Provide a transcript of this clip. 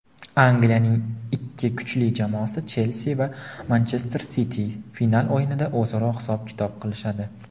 Angliyaning ikki kuchli jamoasi "Chelsi" va "Manchester Siti" final o‘yinida o‘zaro hisob-kitob qilishadi.